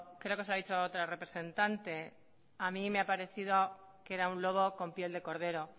creo que se lo ha dicho otra representante a mí me ha parecido que era un lobo con piel de cordero